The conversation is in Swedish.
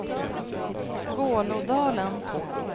Vålådalen